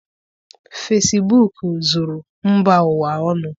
Fesibuuku zuru mba ụwa ọnụ.